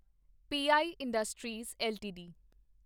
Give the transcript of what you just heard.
ਪ I industries LTD